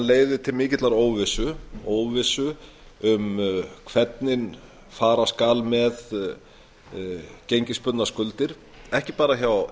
leiðir til mikillar óvissu óvissu um hvernig fara skal með gengisbundnar skuldir ekki bara hjá